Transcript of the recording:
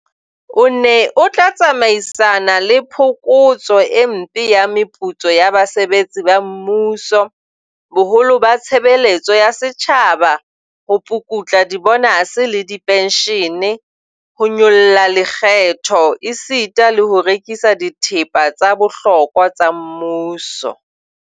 O ne o tla tsamaisana le phokotso e mpe ya meputso ya basebetsi ba mmuso, boholo ba tshebe letso ya setjhaba, ho pukutla dibonase le dipenshene, ho nyolla lekgetho esita le ho rekisa dithepa tsa bohlokwa tsa mmuso.